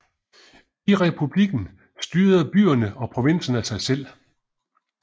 I republikken styrede byerne og provinserne sig selv